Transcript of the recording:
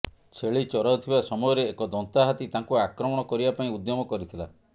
ଛେଳି ଚରାଉଥିବା ସମୟରେ ଏକ ଦନ୍ତା ହାତୀ ତାଙ୍କୁ ଆକ୍ରମଣ କରିବା ପାଇଁ ଉଦ୍ୟମ କରିଥିଲା